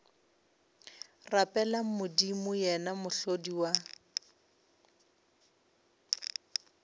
rapeleng modimo yena mohlodi wa